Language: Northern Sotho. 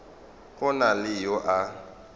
go na le yo a